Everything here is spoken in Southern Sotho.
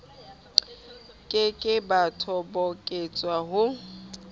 ke ke ba toboketswa ho